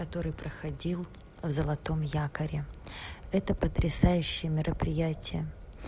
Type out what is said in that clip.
который проходил в золотом якоре это потрясающее мероприятие